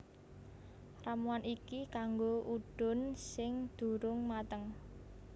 Ramuan iki kanggo udun sing durung mateng